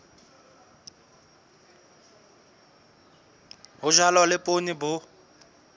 ho jalwa le poone bo